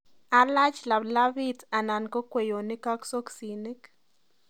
Alach laplapit anan ko kweyonik ak soksinik